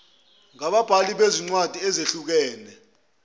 ngababhali bezincwadi ezihlukene